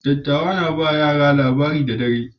Dattawa suna ba yara labari da dare.